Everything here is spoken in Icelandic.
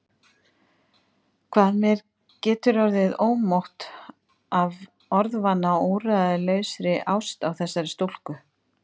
Hvað mér getur orðið ómótt af orðvana og úrræðalausri ást á þessari stúlku!